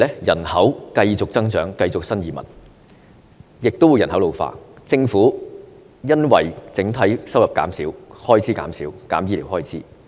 人口繼續增長，不斷有新移民，亦加上人口老化，政府因為整體收入減少，開支減少，而削減醫療開支。